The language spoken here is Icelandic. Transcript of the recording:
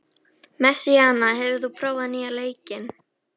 Messíana, hefur þú prófað nýja leikinn?